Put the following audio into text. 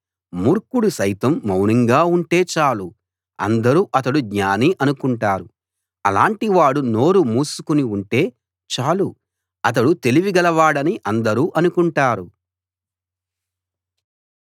మూర్ఖుడు సైతం మౌనంగా ఉంటే చాలు అందరూ అతడు జ్ఞాని అనుకుంటారు అలాటి వాడు నోరు మూసుకుని ఉంటే చాలు అతడు తెలివి గలవాడని అందరూ అనుకుంటారు